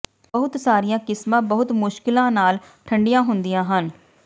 ਬਹੁਤ ਸਾਰੀਆਂ ਕਿਸਮਾਂ ਬਹੁਤ ਮੁਸ਼ਕਲਾਂ ਨਾਲ ਠੰਢੀਆਂ ਹੁੰਦੀਆਂ ਹਨ